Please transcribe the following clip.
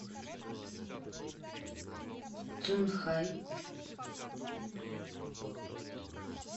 цюнхай